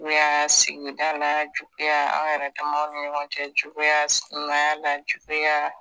Juguya sigida la, juguya anw yɛrɛ damaw nin ɲɔgɔn cɛ, juguya sigiɲɔgɔnya la juguya